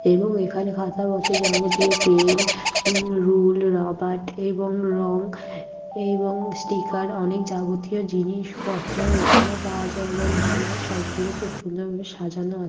এবং এখানে খাতাপত্রের যাবতীয় পেন উম রুল রাবাট এবং রং এবং স্টিকার অনেক যাবতীয় জিনিসপত্র এখানে পাওয়া যায় এবং এখানে সবগুলো খুব সুন্দর ভাবে সাজানো আ--